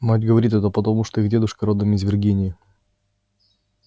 мать говорит это потому что их дедушка родом из виргинии